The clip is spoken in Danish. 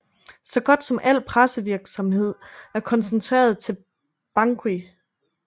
Så godt som al pressevirksamhed er koncentreret til Bangui